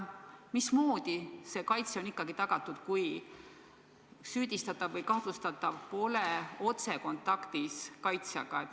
Mismoodi kaitse on ikkagi tagatud, kui süüdistatav või kahtlustatav pole otsekontaktis kaitsjaga?